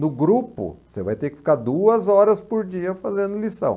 No grupo, você vai ter que ficar duas horas por dia fazendo lição.